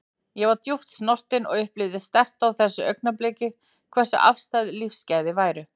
Ég var djúpt snortin og upplifði sterkt á þessu augnabliki hversu afstæð lífsgæði væru.